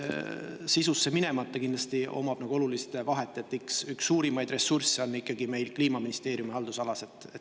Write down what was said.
Sisusse minemata ma ütlen, et kindlasti sellel on oluline vahe, sest üks suurimaid ressursse on meil ikkagi Kliimaministeeriumi haldusalas.